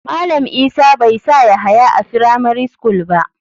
Malam isa bai sa yahaya a firamari school ba.